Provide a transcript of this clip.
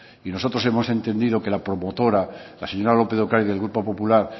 y nosotros hemos entendido que la promotora la señora lópez de ocariz del grupo popular